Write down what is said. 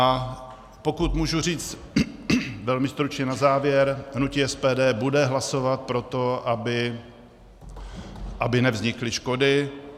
A pokud můžu říct velmi stručně na závěr, hnutí SPD bude hlasovat pro to, aby nevznikly škody.